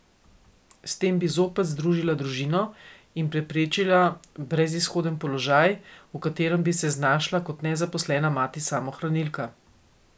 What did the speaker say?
S tem bi zopet združila družino in preprečila brezizhoden položaj, v katerem bi se znašla kot nezaposlena mati samohranilka.